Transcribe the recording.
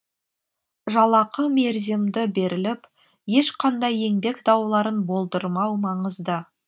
жалақы мерзімді беріліп ешқандай еңбек дауларын болдырмау маңызды